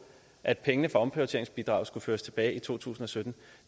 at penge fra omprioriteringsbidraget skulle føres tilbage i to tusind og sytten